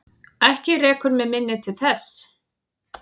Ekki rekur mig minni til þess.